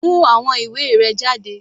Mú àwọn ìwé rẹ jáde.